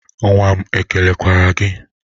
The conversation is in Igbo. Nwa m ekelekwara gị?